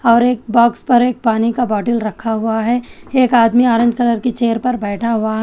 और एक बॉक्स पर एक पानी का बोतल रखा हुआ है एक आदमी ऑरेंज कलर की चेयर पर बैठा हुआ है।